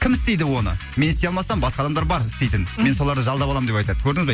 кім істейді оны мен істей алмасам басқа адамдар бар істейтін мен соларды жалдап аламын деп айтады көрдіңіз ба